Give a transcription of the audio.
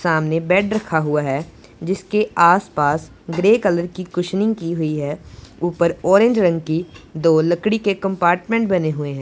सामने बेड रखा हुआ है जीसके आस पास ग्रे कलर की कुशनिंग की हुई है ऊपर ऑरेंज रंग की दो लकड़ी के कंपार्टमेंट बने हुए हैं।